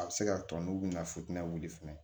A bɛ se ka tɔ n'u bɛna futɛni fɛnɛ